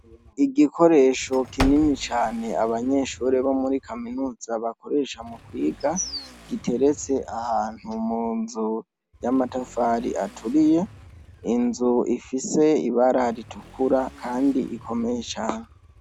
Igikoresho gikoresha abanyeshure bo muri kaminuza bakoresha mukwiga giteretse ahantu munzu yamatafari aturiye inzu ifise ibara ritukura kandi rikomeye cane